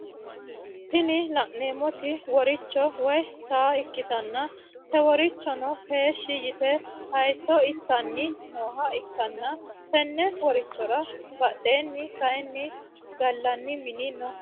Tini laneemoti woricho woyi saa ikkitanna te worichono heeshi yite haayiisso inttanni nooha ikkanna tenne worichora badheeni kaayiini gallani mini no